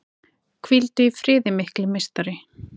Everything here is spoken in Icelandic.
Hvíldu í friði mikli meistari!